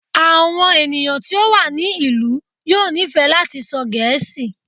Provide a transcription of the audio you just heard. Àwọn ènìyàn tí ó wà ní ìlú yóò nífẹ̀ẹ́ láti sọ Gẹẹ́sì.